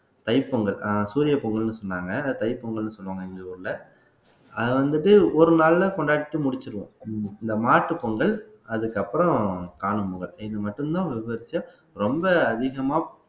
தைப்பொங்கல் ஆஹ் சூரிய பொங்கல்ன்னு சொன்னாங்க தைப்பொங்கல்ன்னு சொல்லுவாங்க எங்க ஊர்ல அது வந்துட்டு ஒரு நாள்ல கொண்டாடிட்டு முடிச்சிருவோம் இந்த மாட்டுப்பொங்கல் அதுக்கப்புறம் காணும் பொங்கல் இது மட்டும்தான் விவரிச்சு ரொம்ப அதிகமா